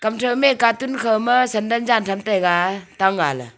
kamthau me katun khauma sandal jan tham taiga tang aa ley.